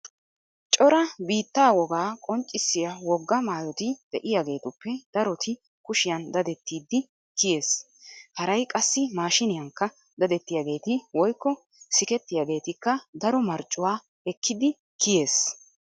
Cora biittaa wogaa qonccissiya wogaa maayoti de'iyageetuppe daroti kushiyan dadettidi kiyees. Haray qassi maashiniyankka dadettiyageeti woykko sikettiyageetikka daro marccuwa ekkidi kiyees.